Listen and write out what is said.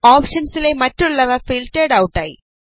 ഓപ്ഷൻസിലെ മറ്റുള്ളവ filtered out ആയി